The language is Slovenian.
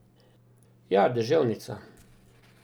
Ja, deževnica.